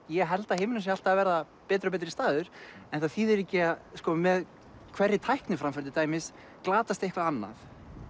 ég held að heimurinn sé alltaf að verða betri og betri staður sko með hverri tækniframför til dæmis glatast eitthvað annað